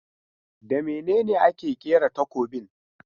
Da mene ne ake kera takobin?